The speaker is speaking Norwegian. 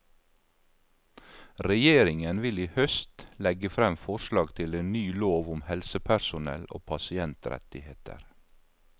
Regjeringen vil i høst legge frem forslag til en ny lov om helsepersonell og pasientrettigheter.